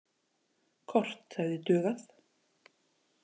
Kort hefði dugað.